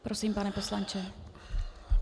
Prosím, pane poslanče.